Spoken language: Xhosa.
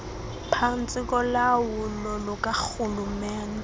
phantsi kolawulo lukarhulumente